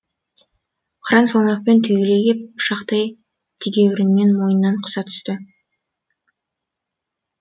қыран салмақпен түйіле кеп пышақтай тегеурінімен мойнынан қыса түсті